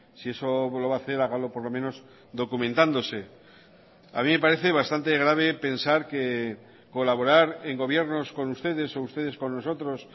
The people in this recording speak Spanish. si eso lo va a hacer hágalo por lo menos documentándose a mí me parece bastante grave pensar que colaborar en gobiernos con ustedes o ustedes con nosotros